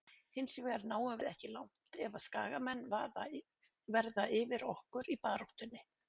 Hinsvegar náum við ekki langt ef að skagamenn verða yfir okkur í baráttunni.